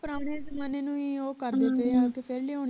ਪੁਰਾਣੀਆਂ ਜ਼ਮਾਨਿਆਂ ਨੂੰ ਹੀ ਉਹ ਕਰ ਦਿੰਦੇ ਆ ਫੇਰ ਲਿਆਉਣ